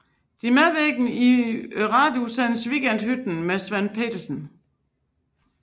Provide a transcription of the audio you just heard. De medvirkede i radioudsendelsen Weekendhytten med Svend Pedersen